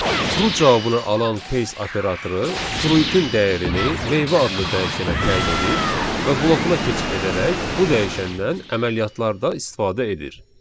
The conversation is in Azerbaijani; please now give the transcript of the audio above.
True cavabını alan case operatoru fruitin dəyərini meyvə adlı dəyişənə təyin edir və blokuna keçid edərək bu dəyişəndən əməliyyatlarda istifadə edir.